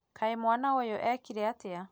Kaĩ mwana ũyũ akire atĩa